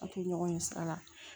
Ka to ɲɔgɔn ye sira la